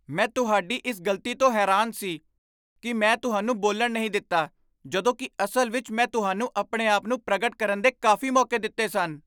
ਮੈਂ ਤੁਹਾਡੀ ਇਸ ਗ਼ਲਤੀ ਤੋਂ ਹੈਰਾਨ ਸੀ ਕਿ ਮੈਂ ਤੁਹਾਨੂੰ ਬੋਲਣ ਨਹੀਂ ਦਿੱਤਾ ਜਦੋਂ ਕਿ ਅਸਲ ਵਿੱਚ ਮੈਂ ਤੁਹਾਨੂੰ ਆਪਣੇ ਆਪ ਨੂੰ ਪ੍ਰਗਟ ਕਰਨ ਦੇ ਕਾਫ਼ੀ ਮੌਕੇ ਦਿੱਤੇ ਸਨ।